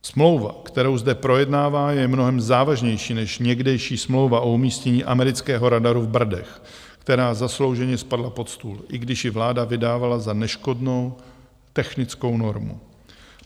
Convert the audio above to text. Smlouva, kterou zde projednáváme, je mnohem závažnější než někdejší smlouva o umístění amerického radaru v Brdech, která zaslouženě spadla pod stůl, i když ji vláda vydávala za neškodnou technickou normu.